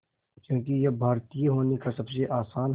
क्योंकि ये भारतीय होने का सबसे आसान